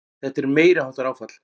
Þetta er meiriháttar áfall!